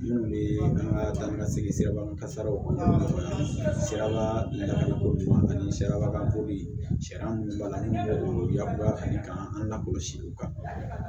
Minnu bɛ an ka taa ni ka segin sira kan siraba lakoro ani siraba kan sariya minnu b'a la n'u yakubaya ka di k'an lakɔlɔsi o kan